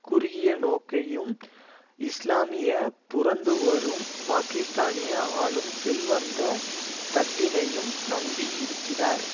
குறுகிய நோக்கையும் இஸ்லாமிய புரந்துவரும் பாகிஸ்தானிய ஆளும் செல்வந்த தட்டினையும் நம்பி இருக்கிறார்